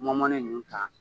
Mɔn mɔnnen nunnu ta